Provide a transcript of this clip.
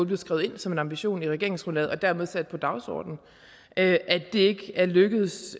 blev skrevet ind som en ambition i regeringsgrundlaget og dermed sat på dagsordenen at det ikke er lykkedes